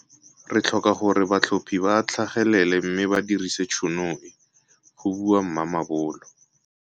Re tlhoka gore batlhophi ba tlhagelele mme ba dirise tšhono e go bua Mamabolo.